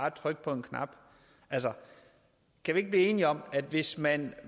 at trykke på en knap altså kan vi ikke blive enige om at hvis man